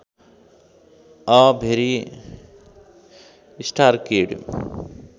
a भेरि star kid